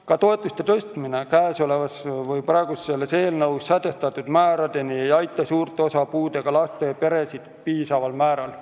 Ka toetuste tõstmine praeguses eelnõus sätestatud määradeni ei aita suurt osa puudega laste peresid piisaval määral.